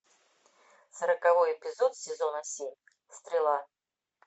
сороковой эпизод сезона семь стрела